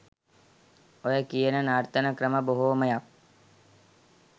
ඔය කියන නර්තන ක්‍රම බොහෝමයක්